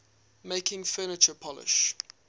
making furniture polish